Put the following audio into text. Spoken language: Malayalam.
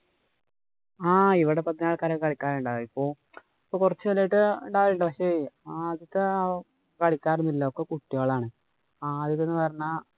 ആഹ് ഇവിടെ പതിന്നാല് ആള്‍ക്കാരൊക്കെ കളിക്കനുണ്ടാവും. ഇപ്പൊ ഇപ്പൊ കൊറച്ച് കാലായിട്ട് പക്ഷേ ആദ്യത്തെ കളിക്കാരൊന്നും ഇല്ല. ഒക്കെ കുട്ടികളാണ്. ആദ്യത്തെ എന്ന് പറഞ്ഞാ